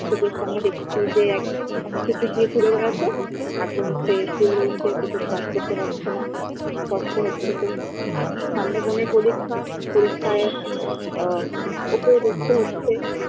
চোখের সামনে দেখছি যে এক হাসিখুশি ঘুরে বেড়াতো এখন সে শুয়ে রয়েছে কিছু কাজ করতে পারছে না কষ্ট হচ্ছে খুব সামনে বনের পরীক্ষা পরীক্ষায় আ ওকেও দেখতে হচ্ছে